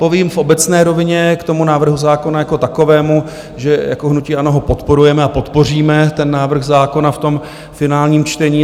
Povím v obecné rovině k tomu návrhu zákona jako takovému, že jako hnutí ANO ho podporujeme a podpoříme ten návrh zákona v tom finálním čtení.